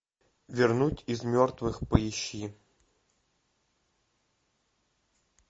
вернуть из мертвых поищи